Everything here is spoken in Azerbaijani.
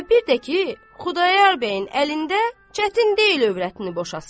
Və bir də ki, Xudayar bəyin əlində çətin deyil övrətini boşasın.